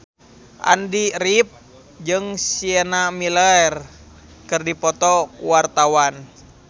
Andy rif jeung Sienna Miller keur dipoto ku wartawan